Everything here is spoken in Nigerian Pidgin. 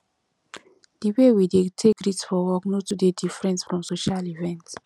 di way we dey take greet for work no too dey diffrent from social event